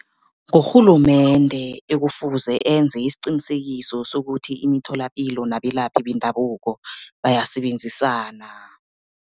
Ngurhulumende ekufuze enze isiqinisekiso sokuthi, imitholapilo nabelaphi bendabuko bayasebenzisana.